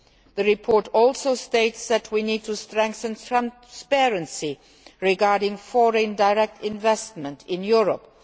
The report also states that we need to strengthen transparency regarding foreign direct investment in Europe.